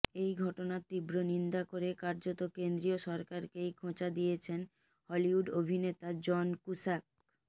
এই ঘটনার তীব্র নিন্দা করে কার্যত কেন্দ্রীয় সরকারকেই খোঁচা দিয়েছেন হলিউড অভিনেতা জন কুশ্যাক